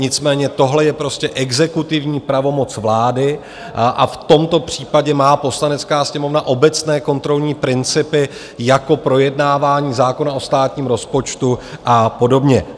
Nicméně tohle je prostě exekutivní pravomoc vlády a v tomto případě má Poslanecká sněmovna obecné kontrolní principy, jako projednávání zákona o státním rozpočtu a podobně.